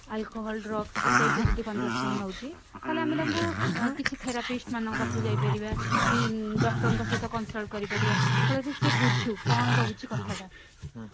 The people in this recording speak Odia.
alcohol drugs ଏଇ type ର ଯଦି consumption ନଉଛି ତାହାଲେ ଆମେ ତାଙ୍କୁ କିଛି therapist ମାନଙ୍କ ପାଖକୁ ଯାଇପାରିବା କି doctor ଙ୍କ ସହିତ consult କରି ପାରିବା ଫଳରେ ସେ ବୁଝୁ କଣ ରହୁଛି କଥାଟା